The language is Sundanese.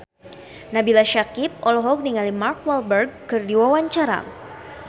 Nabila Syakieb olohok ningali Mark Walberg keur diwawancara